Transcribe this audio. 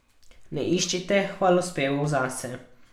Ne iščite hvalospevov zase.